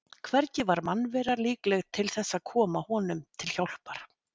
Hvergi var mannvera líkleg til þess að koma honum til hjálpar.